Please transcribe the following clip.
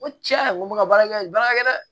N ko tiɲɛ a ko ka baarakɛ nin baara kɛ dɛ